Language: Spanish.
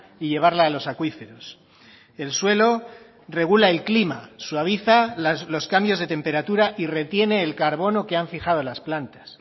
y llevarla a los acuíferos el suelo regula el clima suaviza los cambios de temperatura y retiene el carbono que han fijado las plantas